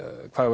hvað